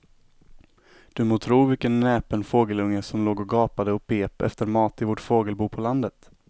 Du må tro vilken näpen fågelunge som låg och gapade och pep efter mat i vårt fågelbo på landet.